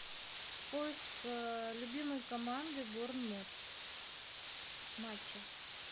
поиск любимой команды борнмут матчи